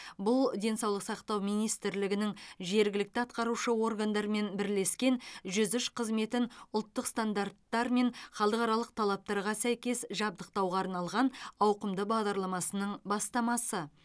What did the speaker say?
бұл денсаулық сақтау министрлігінің жергілікті атқарушы органдармен бірлескен жүз үш қызметін ұлттық стандарттар мен халықаралық талаптарға сәйкес жабдықтауға арналған ауқымды бағдарламасының бастамасы